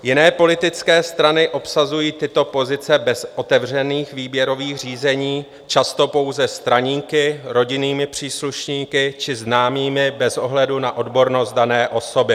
Jiné politické strany obsazují tyto pozice bez otevřených výběrových řízení, často pouze straníky, rodinnými příslušníky či známými bez ohledu na odbornost dané osoby.